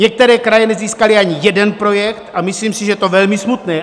Některé kraje nezískaly ani jeden projekt a myslím si, že je to velmi smutné.